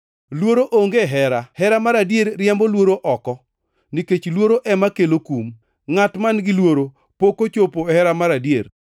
Luoro onge e hera; hera mar adier riembo luoro oko nikech luoro ema kelo kum. Ngʼat man-gi luoro pok ochopo e hera mar adier.